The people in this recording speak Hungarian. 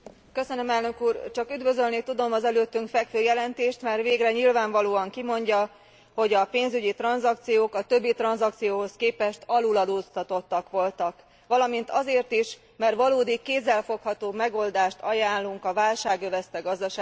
Csak üdvözölni tudom az előttünk fekvő jelentést, mert végre nyilvánvalóan kimondja, hogy a pénzügyi tranzakciók a többi tranzakcióhoz képest aluladóztatottak voltak, valamint azért is, mert valódi, kézzelfogható megoldást ajánlunk a válság övezte gazdasági helyzetben.